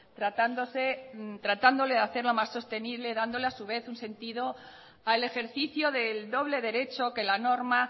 tratando de hacer más sostenible dándole a su vez un sentido al ejercicio del doble derecho que la norma